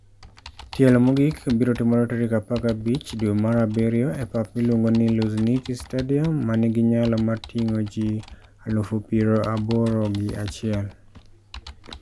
Tielo mogik biro timore tarik 15 dwe mar abiryo e pap miluongo ni Luzhniki Stadium, ma nigi nyalo mar ting'o ji 81,000.